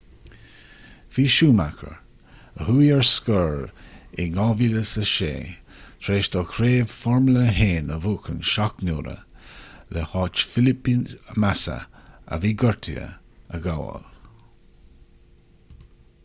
bhí schumacher a chuaigh ar scor in 2006 tar éis dó craobh formula 1 a bhuachan seacht n-uaire le háit felipe massa a bhí gortaithe a ghabháil